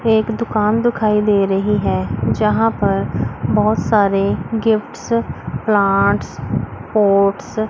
एक दुकान दुखाई दे रही है जहां पर बहोत सारे गिफ्ट्स प्लांट्स पोट्स --